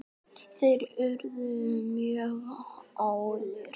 Fyrir það viljum við þakka.